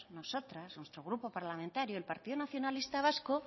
nosotras nuestro grupo parlamentario el partido nacionalista vasco